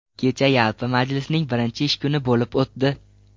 Kecha yalpi majlisning birinchi ish kuni bo‘lib o‘tdi.